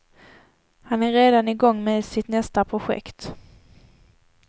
Han är redan igång med sitt nästa projekt.